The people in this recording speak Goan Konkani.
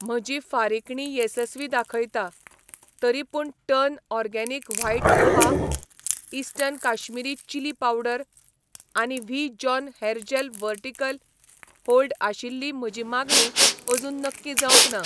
म्हजी फारिकणी येसस्वी दाखयता, तरीपूण turn organic white poha , eastern Kashmiri chilli powder आनी V John hair gel vertical hold आशिल्ली म्हजी मागणी अजून नक्की जावंक ना